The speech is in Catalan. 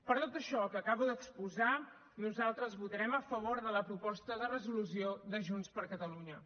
per tot això que acabo d’exposar nosaltres votarem a favor de la proposta de resolució de junts per catalunya